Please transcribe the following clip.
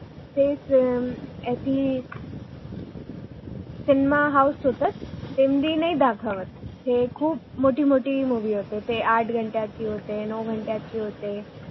तेच याची cinema house cinema house होता लेंडी नाही दाखवत ते खूप मोठी मोठी मुवि होते ते आठ घंट्याची होते नऊ घंट्याची होते